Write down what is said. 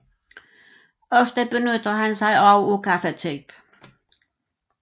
Ofte benytter han sig også af gaffatape